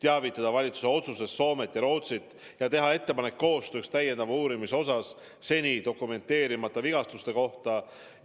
Valitsuse otsusest tuleb teavitada Soomet ja Rootsit ning teha ettepanek koostööks seni dokumenteerimata vigastuste täiendaval uurimisel.